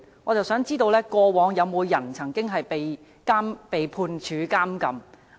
我想知道過往曾否有人被判處監禁？